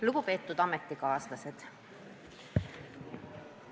Lugupeetud ametikaaslased!